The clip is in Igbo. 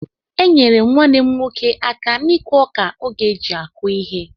Enyere m nwannem nwoke aka n'ikụ ọka oge eji akụ ihe.